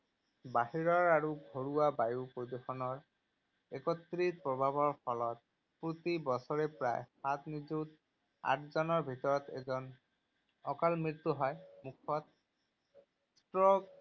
বাহিৰৰ আৰু ঘৰুৱা বায়ু প্ৰদূষণৰ একত্ৰিত প্ৰভাৱৰ ফলত প্ৰতি বছৰে প্ৰায় সাত নিযুত, আঠজনৰ ভিতৰত এজন অকাল মৃত্যু হয়। মুখ্যতঃ ষ্ট্ৰোক,